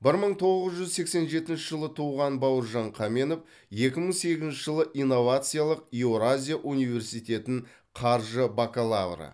бір мың тоғыз жүз сексен жетінші жылы туған бауыржан қаменов екі мың сегізінші жылы инновациялық еуразия университетін қаржы бакалавры